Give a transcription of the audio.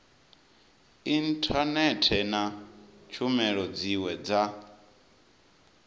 inthanethe na tshumelo dziwe dza